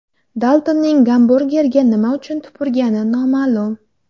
Daltonning gamburgerga nima uchun tupurgani noma’lum.